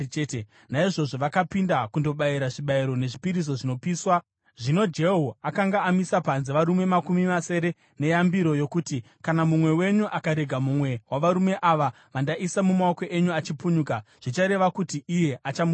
Naizvozvo vakapinda kundobayira zvibayiro nezvipiriso zvinopiswa. Zvino Jehu akanga amisa panze varume makumi masere neyambiro yokuti: “Kana mumwe wenyu akarega mumwe wavarume ava vandaisa mumaoko enyu achipunyuka, zvichareva kuti iye achamufira.”